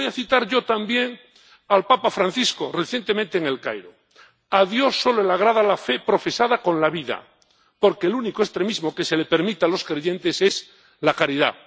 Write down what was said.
Y voy a citar yo también al papa Francisco, recientemente en El Cairo A Dios solo le agrada la fe profesada con la vida, porque el único extremismo que se le permite a los creyentes es la caridad.